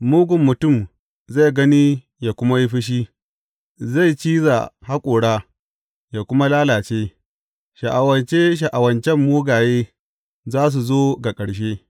Mugun mutum zai gani yă kuma yi fushi, zai ciza haƙora yă kuma lalace; sha’awace sha’awacen mugaye za su zo ga ƙarshe.